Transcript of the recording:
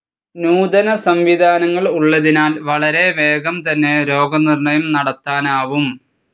നൂതന സംവിധാനങ്ങൾ ഉള്ളതിനാൽ വളരെ വേഗം തന്നെ രോഗനിർണയം നടത്താനാവും.